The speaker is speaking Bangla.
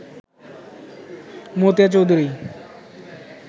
মতিয়া চৌধুরী